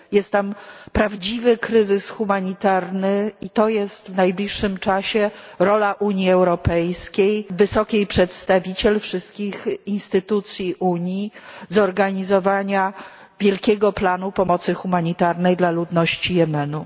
Jest tam prawdziwy kryzys humanitarny i w najbliższym czasie rolą Unii Europejskiej, wysokiej przedstawiciel, wszystkich instytucji Unii będzie zorganizowanie wielkiego planu pomocy humanitarnej dla ludności Jemenu.